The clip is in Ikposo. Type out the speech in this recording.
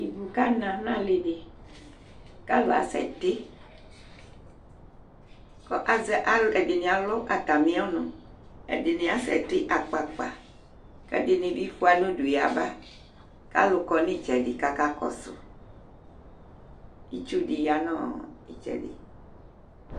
Ivu kana nʋ alɩ dɩ kʋ alʋ asɛtɩ kʋ azɛ al, ɛdɩ alʋ atamɩ ɔnʋ, ɛdɩnɩ asɛtɩ akpa akpa kʋ ɛdɩnɩ bɩ fʋa nʋ udu yaba kʋ alʋ kɔ nʋ ɩtsɛdɩ kʋ akakɔsʋ Itsu dɩ ya nʋ ɔ ɩtsɛdɩ